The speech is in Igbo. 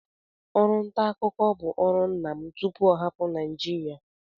Ọrụ nta akụkọ bụ bu ọrụ nna m tupu ọ hapụ Naịjirịa